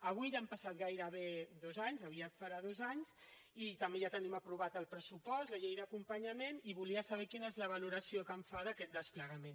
avui ja han passat gairebé dos anys aviat farà dos anys i també ja tenim aprovat el pressupost la llei d’acompanyament i volia saber quina és la valoració que en fa d’aquest desplegament